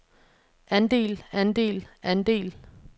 andel andel andel